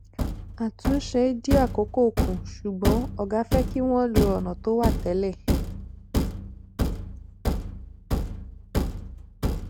àtúnṣe dín àkókò kù ṣùgbọn ògá fẹ kí wọn lo ònà tó wà télè